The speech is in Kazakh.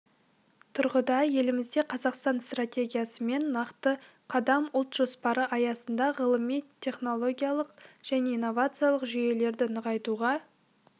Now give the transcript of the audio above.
тұрғыда елімізде қазақстан стратегиясы мен нақты қадам ұлт жоспары аясында ғылыми-теіникалық және инновациялық жүйелерді нығайтуға